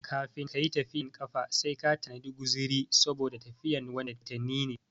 Kafin kayi tafiyan kafa sai ka tanadi guziri saboda tafiyan watanni ne